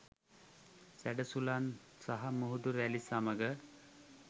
සැඩ සුළං සහ මුහුදු රැළි සමග